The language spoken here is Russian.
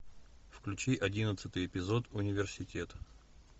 включи одиннадцатый эпизод университет